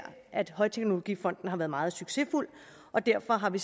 at højteknologifonden har været meget succesfuld og derfor har vi